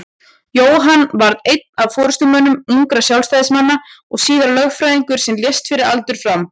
Jóhann varð einn af forystumönnum ungra Sjálfstæðismanna og síðar lögfræðingur en lést fyrir aldur fram.